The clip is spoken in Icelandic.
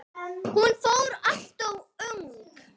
Hún fór alltof ung.